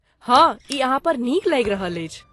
हँ, ई अहाँ पर नीक लागि रहल अछि।